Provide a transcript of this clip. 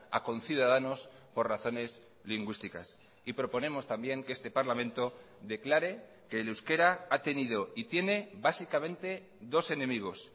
a conciudadanos por razones lingüísticas y proponemos también que este parlamento declare que el euskera ha tenido y tiene básicamente dos enemigos